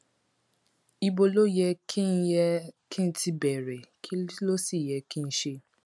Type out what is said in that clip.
ibo ló yẹ kí n yẹ kí n ti bẹrẹ kí ló sì yẹ kí n ṣe